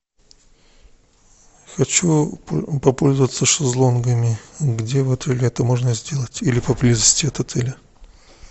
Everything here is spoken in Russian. хочу попользоваться шезлонгами где в отеле это можно сделать или поблизости от отеля